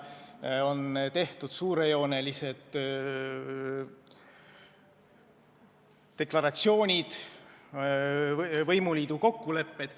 On tehtud suurejoonelised deklaratsioonid, võimuliidu kokkulepped.